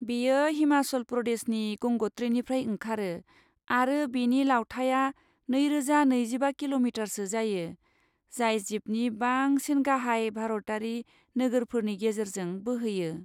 बेयो हिमाचल प्रदेशनि गंग'त्रीनिफ्राय ओंखारो, आरो बेनि लावथाइया नैरोजा नैजिबा किल'मिटारसो जायो, जाय जिबनि बांसिन गाहाय भारतारि नोगोरफोरनि गेजेरजों बोहैयो।